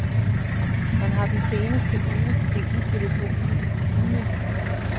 Han har den seneste uge hængt i telefonen i timevis.